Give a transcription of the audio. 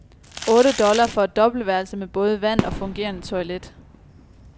Otte dollar for et dobbeltværelse med både vand og fungerende toilet.